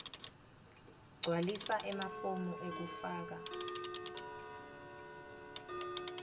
gcwalisa emafomu ekufaka